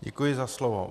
Děkuji za slovo.